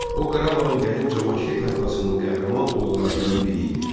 O Qarabağın qədim Cavanşir tayfasının qəhrəman oğullarından biri idi.